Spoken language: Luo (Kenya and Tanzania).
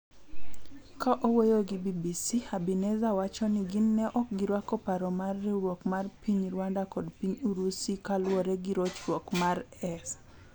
Ka owuoyo gi BBC, Habineza wachoni gin ne okgirwako paro mar riwruok mar piny Rwanda kod Piny Urusi kaluore gi rochruok mare.s